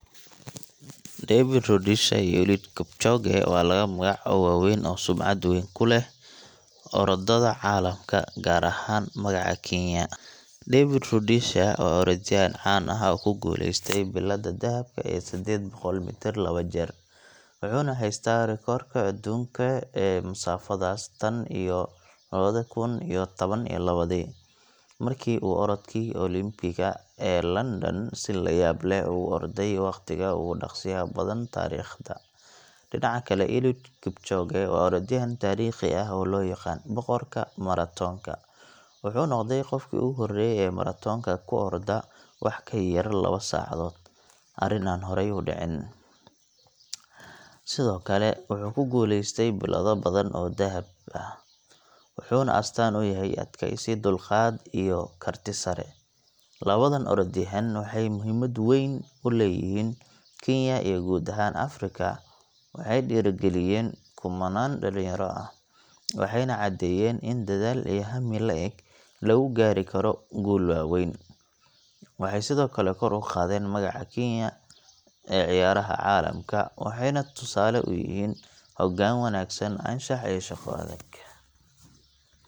David Rudisha iyo Eliud Kipchoge waa laba magac oo waaweyn oo sumcad weyn ku leh orodada caalamka, gaar ahaan magaca Kenya. David Rudisha waa orodyahan caan ah oo ku guuleystay biladda dahabka ee sedded boqol mitir laba jeer, wuxuuna haystaa rikoodhka adduunka ee masaafadaas tan iyo lawadi kun tawan iyo lawadii, markii uu orodkii Olympic ga ee London si yaab leh ugu orday waqtiga ugu dhaqsiyaha badan taariikhda. Dhinaca kale, Eliud Kipchoge waa orodyahan taariikhi ah oo loo yaqaanno Boqorka Maratoonka. Wuxuu noqday qofkii ugu horreeyay ee maratoonka ku orda wax ka yar lawa saacadood arrin aan horay u dhicin. Sidoo kale, wuxuu ku guuleystay bilado badan oo dahab ah, wuxuuna astaan u yahay adkeysi, dulqaad, iyo karti sare. Labadan orodyahan waxay muhiimad weyn u leeyihiin Kenya iyo guud ahaan Afrika. Waxay dhiirrigeliyeen kumannaan dhallinyaro ah, waxayna caddeeyeen in dadaal iyo hami la’eg lagu gaari karo guulo waaweyn. Waxay sidoo kale kor u qaadeen magaca Kenya ee ciyaaraha caalamka, waxayna tusaale u yihiin hoggaan wanaagsan, anshax, iyo shaqo adag.